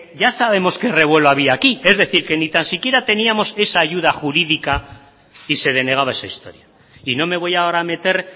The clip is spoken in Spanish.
ya sabemos que revuelo había aquí es decir que ni tan siquiera teníamos esa ayuda jurídica y se denegaba esa historia y no me voy ahora a meter